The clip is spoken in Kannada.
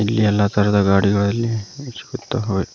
ಇಲ್ಲಿ ಎಲ್ಲ ತರದ ಗಾಡಿಗಳು ಇಲ್ಲಿ ಸಿಗುತ್ತವೆ.